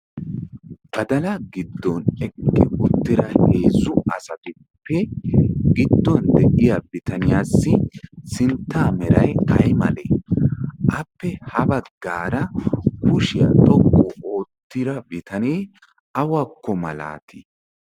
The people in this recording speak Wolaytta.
badalaa giddon eqqi uttida heezzu asatuppe gidduwaan de'iyaa bitaniyaasi sinttaa meray ay milatii? appe ha baggaara kushiyaa xooqqu oottida bitanee awakko malaatii?